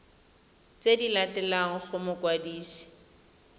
tse di latelang go mokwadisi